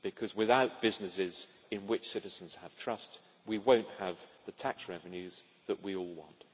Because without businesses in which citizens have trust, we will not have the tax revenues that we all want.